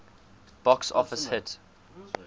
box office hit